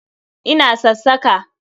Ina sassaka ka.